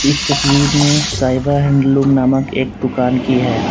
इस तस्वीर में साहिब हैंडलूम नामक एक दुकान की है।